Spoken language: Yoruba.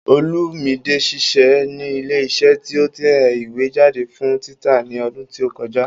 Olúmide ṣiṣẹ́ ní ilé iṣẹ́ tí ó ń tẹ ìwé jáde fún títa ní ọdún tí ó kọjá